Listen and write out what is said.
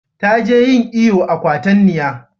Ta je yin iyo a kwatanniya